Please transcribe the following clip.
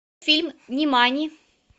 фильм нимани